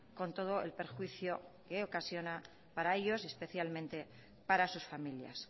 con todo el perjuicio que ocasiona para ellos especialmente para sus familias